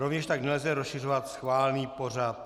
Rovněž tak nelze rozšiřovat schválený pořad.